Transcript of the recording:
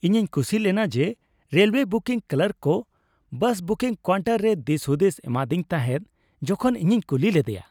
ᱤᱧᱤᱧ ᱠᱩᱥᱤ ᱞᱮᱱᱟ ᱡᱮ ᱨᱮᱞᱳᱭᱮ ᱵᱩᱠᱤᱝ ᱠᱞᱟᱨᱠ ᱠᱚ ᱵᱟᱥ ᱵᱩᱠᱤᱝ ᱠᱟᱣᱩᱱᱴᱟᱨ ᱨᱮ ᱫᱤᱥᱼᱦᱩᱫᱤᱥᱮ ᱮᱢᱟᱫᱤᱧ ᱛᱟᱦᱮᱸᱫ ᱡᱚᱠᱷᱚᱱ ᱤᱧᱤᱧ ᱠᱩᱞᱤ ᱞᱮᱫᱮᱭᱟ ᱾